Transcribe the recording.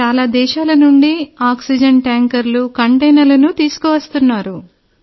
చాలా దేశాల నుండి ఆక్సిజన్ ట్యాంకర్లు కంటైనర్లను తీసుకువస్తున్నారు